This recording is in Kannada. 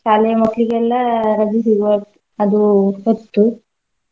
ಶಾಲೆಯ ಮಕ್ಳಿಗೆಲ್ಲಾ ರಜೆ ಸಿಗುವ ಅದೂ ಹೊತ್ತು.